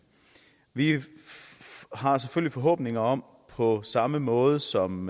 vi har selvfølgelig forhåbninger om at det på samme måde som